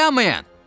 Dayanmayın!